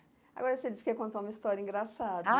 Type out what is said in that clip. Agora você disse que ia contar uma história engraçada. Ah